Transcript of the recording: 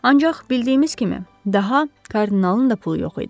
Ancaq bildiyimiz kimi, daha kardinalın da pulu yox idi.